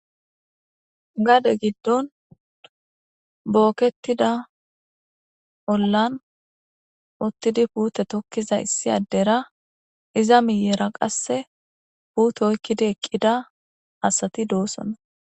Gade giddon bokketida ollan uttidi puutte tokiza issi addera iza miyera qasse puutte oyikidi eqida asati dossonna.